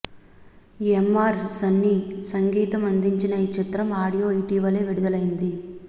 MR Sunny సంగీతం అందించిన ఈ చిత్ర ఆడియో ఇటీవలే విడుదలైంది